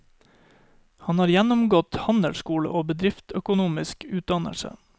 Han har gjennomgått handelsskole og bedriftsøkonomisk utdannelse.